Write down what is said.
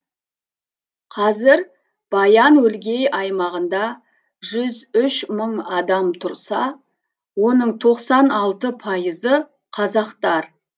қазір баян өлгей аймағында жүз үш мың адам тұрса оның тоқсан алты пайызы қазақтар